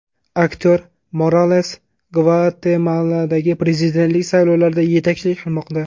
Aktyor Morales Gvatemaladagi prezidentlik saylovlarida yetakchilik qilmoqda.